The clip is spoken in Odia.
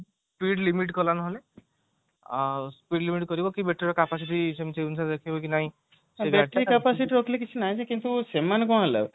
speed limit କଲା ନହେଲେ ଆଉ speed limit କରିବ କି battery ର capacity ସେମଟି ସେଇ ହିସାବରେ ରଖିବ କି ନାଇଁ